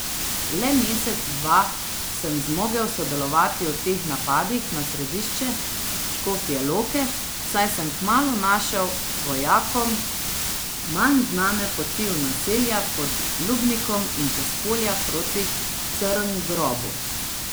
Le mesec, dva sem zmogel sodelovati v teh napadih na središče Škofje Loke, saj sem kmalu našel vojakom manj znane poti v naselja pod Lubnikom in čez polja proti Crngrobu.